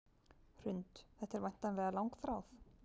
Hrund: Þetta er væntanlega langþráð?